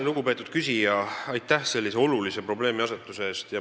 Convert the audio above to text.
Lugupeetud küsija, aitäh sellise olulise probleemiasetuse eest!